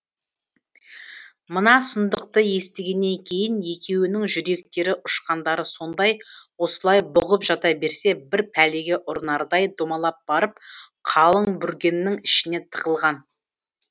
мына сұмдықты естігеннен кейін екеуінің жүректері ұшқандары сондай осылай бұғып жата берсе бір пәлеге ұрынардай домалап барып қалың бүргеннің ішіне тығылған